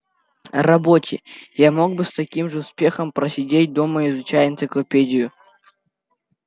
работе я мог бы с таким же успехом просидеть дома изучая энциклопедию